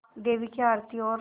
देवी की आरती और